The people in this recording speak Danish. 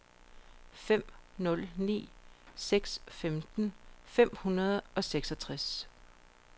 fem nul ni seks femten fem hundrede og seksogtres